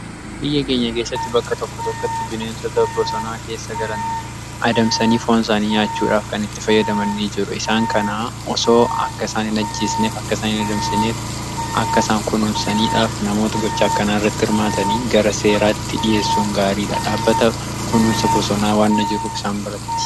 Biyya keenya keessatti bakka tokko tokkotti bineensata bosonaa keessa galan adamsanii foonsaanii nyaachuudhaaf kan itti fayyadamann jiru. Isaan kana osoo akka isaan hin ajjiisneef akka isaan hin adamsineef akka isaan kunumsaniidhaaf namoota gocha akkanaa irratti hirmaatan gara seeraatti dhi'eessuun gaariidha. Dhaabbata kununsa bosonaa waanna jiru isaan birati waan ta'eef.